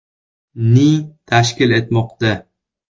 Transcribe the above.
ni tashkil etmoqda.